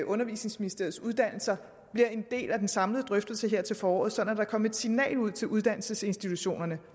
undervisningsministeriets uddannelser bliver en del af den samlede drøftelse her til foråret sådan at der kommer et signal ud til uddannelsesinstitutionerne